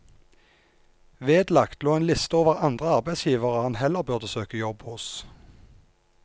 Vedlagt lå en liste over andre arbeidsgivere han heller burde søke jobb hos.